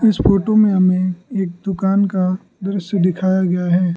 इस फोटो में हमें एक दुकान का दृश्य दिखाया गया है।